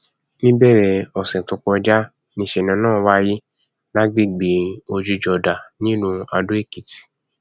níbẹrẹ ọsẹ tó kọjá níṣẹlẹ náà wáyé lágbègbè ojújódá nílùú adóèkìtì